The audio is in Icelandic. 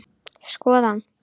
Skoða hana?